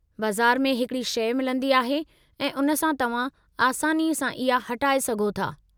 बज़ार में हिकड़ी शइ मिलंदी आहे, ऐं उन सां तव्हां आसानी सां इहा हटाए सघो था।